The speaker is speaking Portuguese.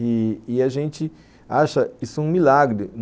E... e a gente acha isso um milagre.